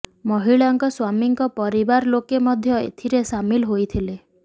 ମହିଳାଙ୍କ ସ୍ବାମୀଙ୍କ ପରିବାର ଲୋକେ ମଧ୍ୟ ଏଥିରେ ସାମିଲ ହୋଇଥିଲେ